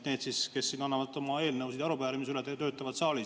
Need, kes annavad oma eelnõusid ja arupärimisi üle, töötavad saalis.